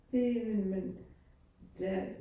Det men der